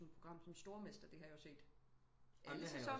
Et program som stormester hvor jeg har set jo alle sæsoner